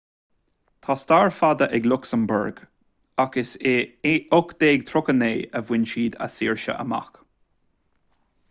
tá stair fada ag lucsamburg ach is i 1839 a bhain siad a saoirse amach